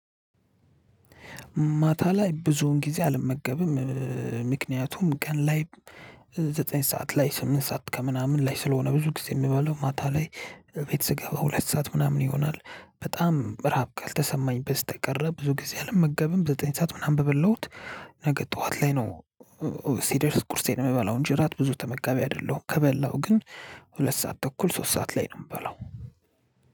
ማታ ላይ ብዙውን ጊዜ አልመገብም ምክንያቱም ቀን ላይ ዘጠኝ ሰዓት ላይ ስምንት ሰዓት ከምናምን ላይ ስለሆነ ብዙ ጊዜ እምበላው ማታ ላይ። ቤት ስገባ ሁለት ሰዓት ምናምን ይሆናል በጣም ራብ ካልተሰማኝ በስተቀር ብዙ ጊዜ አልመገብም ዘጠኝ ሰዓት ምናምን በበላሁት ነገ ጥዋት ላይ ነው። ሲደርስ ቁርሴን እምበላው እንጂ እራት ብዙ ተመጋቢ አይደለሁም። ከበላሁ ግን ሁለት ሰዓት ተኩል ሶስት ሰዓት ላይ ነው እምበላው።